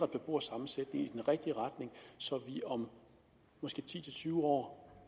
beboersammensætningen i den rigtige retning så vi om måske ti til tyve år